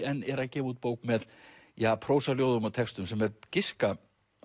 en er að gefa út bók með prósaljóðum og textum sem er giska